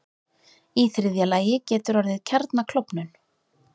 Í þriðja lagi getur orðið kjarnaklofnun.